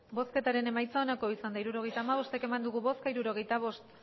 hirurogeita hamabost eman dugu bozka hirurogeita bost